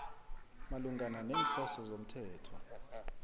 malungana neenhloso zomthetho